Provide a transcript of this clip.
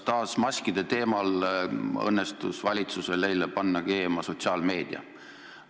Taas maskide teemal õnnestus valitsusel eile panna keema sotsiaalmeedia.